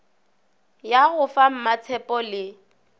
ya go fa mmatshepho le